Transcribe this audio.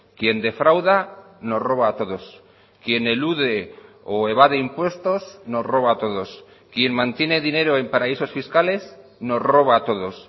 quien defrauda nos roba a todos quien elude o evade impuestos nos roba a todos quien mantiene dinero en paraísos fiscales nos roba a todos